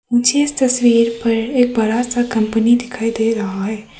मुझे तस्वीर पर एक बड़ा सा कंपनी दिखाई दे रहा है।